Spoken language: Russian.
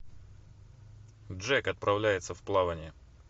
джек отправляется в плавание